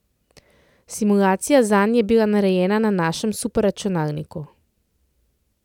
Simulacija zanj je bila narejena na našem superračunalniku.